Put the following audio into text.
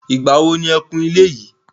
Ìgbà wo ni e kun ilé yìí.